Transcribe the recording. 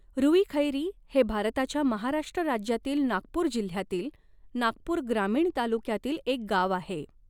रूईखैरी हे भारताच्या महाराष्ट्र राज्यातील नागपूर जिल्ह्यातील नागपूर ग्रामीण तालुक्यातील एक गाव आहे.